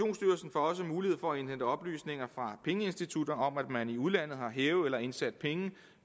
også mulighed for at indhente oplysninger fra pengeinstitutter om at man i udlandet har hævet eller indsat penge